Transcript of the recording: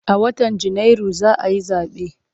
A watan Janairu za a yi zaɓe.